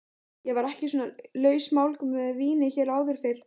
Ég var ekki svona lausmálg með víni hér áður fyrr.